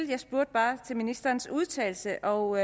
jeg spurgte bare til ministerens udtalelse og